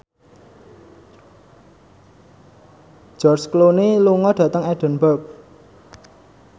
George Clooney lunga dhateng Edinburgh